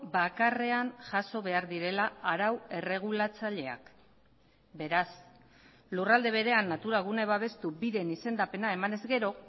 bakarrean jaso behar direla arau erregulatzaileak beraz lurralde berean natura gune babestu bideen izendapena emanez gero